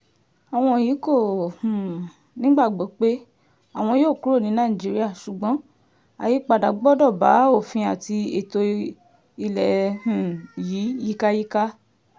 àwọn yìí kò um nígbàgbọ́ pé àwọn yóò kúrò ní nàìjíríà ṣùgbọ́n àyípadà gbọ́dọ̀ bá òfin àti ètò ilé um yìí yíkáyíká